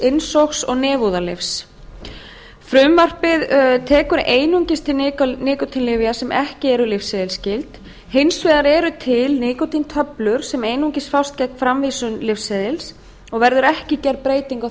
innsogs og nefúðalyfs frumvarpið tekur einungis til nikótínlyfja sem ekki eru lyfseðilsskyld hins vegar eru til nikótíntöflur sem einungis fást gegn framvísun lyfseðils og verður ekki gerð breyting á